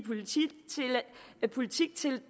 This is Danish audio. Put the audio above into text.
politiktiltag